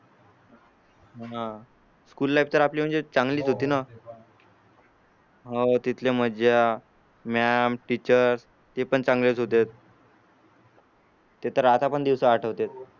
school life तर आपली म्हणजे चांगलीच होती ना हो तिथले मज्जा मॅम टीचर ते पण चांगलेच होते ते तर आता पण दिवस आठवतेत